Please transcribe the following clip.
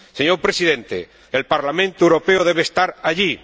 Señor Presidente, el Parlamento Europeo debe estar allí.